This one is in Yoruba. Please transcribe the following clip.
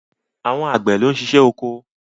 Àwọn Àgbẹ̀ ló ń ṣiṣẹ́ oko.